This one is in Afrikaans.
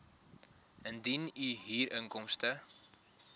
indien u huurinkomste